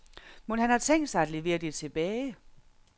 Mon han har tænkt sig at levere det tilbage?